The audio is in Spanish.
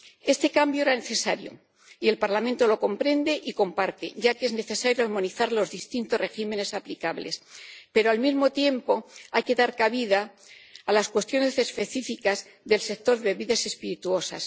Este cambio era necesario, y el Parlamento lo comprende y comparte ya que es necesario armonizar los distintos regímenes aplicables, pero, al mismo tiempo, hay que dar cabida a las cuestiones específicas del sector de las bebidas espirituosas.